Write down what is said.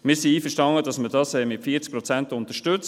Wir sind einverstanden, dass man das mit 40 Prozent unterstützt.